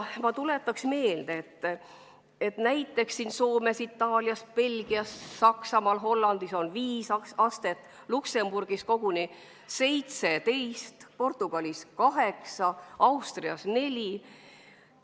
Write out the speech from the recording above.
Ma tuletaks meelde, et näiteks Soomes, Itaalias, Belgias, Saksamaal ja Hollandis on viis astet, Luksemburgis koguni 17, Portugalis kaheksa, Austrias neli.